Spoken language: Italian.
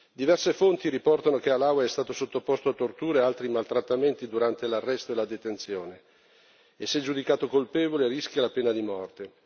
Diverse fonti riportano che Halawa è stato sottoposto a tortura ed altri maltrattamenti durante l'arresto e la detenzione e, se giudicato colpevole, rischia la pena di morte.